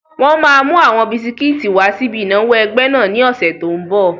Wọ́n máa mú àwọn bisikíìtì wà síbi ìnáwó ẹgbẹ́ náà ní ọ̀sẹ̀ tó n bọ̀